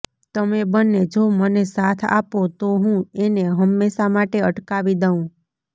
તમે બંને જો મને સાથ આપો તો હું એને હંમેશાં માટે અટકાવી દઉં